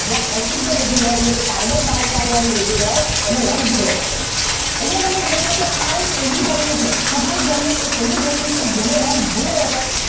જ્યાં અશુદ્ધ રુધિર હોય એટલે કે કાર્બન ડાયોક્સાઇડ વાળુ રુધિર હોય એનો રંગ ભૂરો હોય અહીંયા તમે જોશો કે આ એક એવી ધમની છે ફુફુસ ધમની એક એવી ધમની છે જેનો રંગ ભૂરો હશે